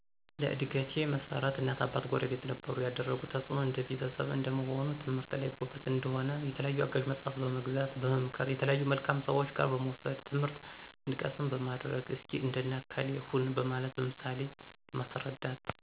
ለእድገቴ መሠረት እናት አባት ጉረቤት ነበሩ የደረጉት ተፅእኖ እንደ ቤተሰብ እንደመሆኔ ትምህርት ላይ ጎበዝ እንድሆነ የተለያዩ አጋዥ መፅሐፍ በመግዛት፣ በመምከር፣ የተለያዩ መልካም ሰዎች ጋ በመውሰድ ትምህርት እንድቀስም በማድረግ፣ እስኪ እንደነ ከሌ ሁን በማለት በምሳሌ በማስረዳት፣